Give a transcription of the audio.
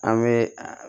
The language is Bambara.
An bɛ a